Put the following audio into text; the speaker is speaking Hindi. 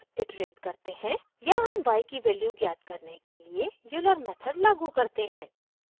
यहाँ हम y की वैल्यू ज्ञात करने के लिए euler मेथड लागू करते हैं